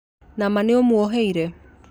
Nama nĩũmwoheire?